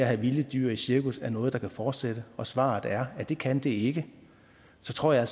have vilde dyr i cirkus er noget der kan fortsætte og hvis svaret er at det kan det ikke så tror jeg